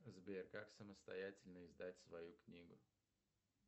сбер как самостоятельно издать свою книгу